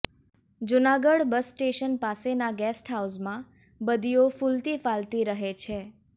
Junagadh bus station પાસેના guest હાઉસમાં બદીઓ ફૂલતી ફાલતી રહે છે